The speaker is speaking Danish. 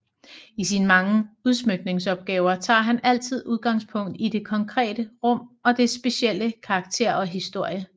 I sine mange udsmykningsopgaver tager han altid udgangspunkt i det konkrete rum og dets specielle karakter og historie